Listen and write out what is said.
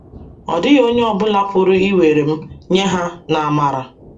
Ọ dịghị onye ọ bụla pụrụ iwere m nye ha n’amara.